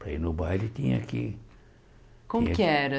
Para ir no baile tinha que... Como que era?